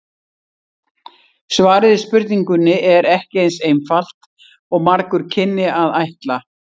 Svarið við spurningunni er ekki eins einfalt og margur kynni að ætla.